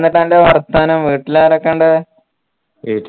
ന്താ അ ൻറെ വർത്താനം വീട്ടിലാരൊക്കെ ഇണ്ട്